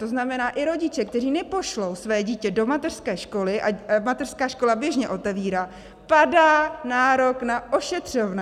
To znamená, i rodiče, kteří nepošlou své dítě do mateřské školy, a mateřská škola běžně otevírá, padá nárok na ošetřovné.